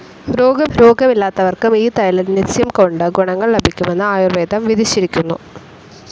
രോഗം ഇല്ലാത്തവർക്കും ഈ തൈലനസ്യംകൊണ്ട് ഗുണങ്ങൾ ലഭിക്കുമെന്ന് ആയുർവേദം വിധിച്ചിരിക്കുന്നു.